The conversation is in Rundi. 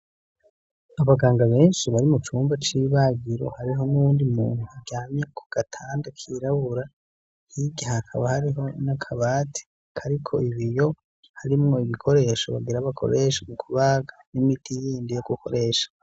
Abaganga benshi bari mucumba c'ibagiro hariho n'uwundi muntu aryamye kugatanda kirabura hirya hakaba hariho n'akabati kariko ibiyo harimwo ibikoresho bagira bakoresha mukubaga n'imiti yindi yo gukoresha.